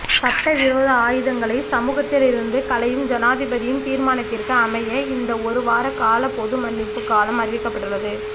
சட்டவிரோத ஆயுதங்களை சமூகத்திலிருந்து கலையும் ஜனாதிபதியின் தீர்மானத்திற்கு அமைய இந்த ஒருவார கால பொது மன்னிப்பு காலம் அறிவிக்கப்பட்டுள்ளது